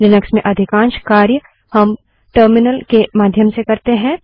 Linux में अधिकांश कार्य हम टर्मिनल के माध्यम से करते है